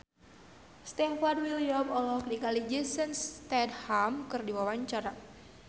Stefan William olohok ningali Jason Statham keur diwawancara